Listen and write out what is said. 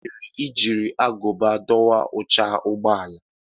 Gini mere i jiri agụba dọwaa oche ụgbọ ala?